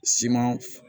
Siman